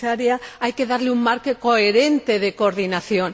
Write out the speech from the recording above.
Comisaria. Hay que darle un marco coherente de coordinación